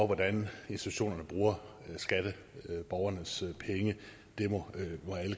hvordan institutionerne bruger skatteborgernes penge det må alle